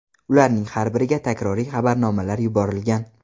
Ularning har biriga takroriy xabarnomalar yuborilgan.